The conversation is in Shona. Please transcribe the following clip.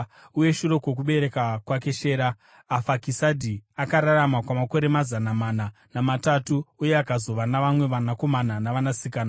Uye shure kwokubereka kwake Shera, Afakisadhi akararama kwamakore mazana mana namatatu uye akazova navamwe vanakomana navanasikana.